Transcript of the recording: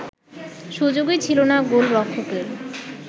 সুযোগই ছিল না গোলরক্ষকের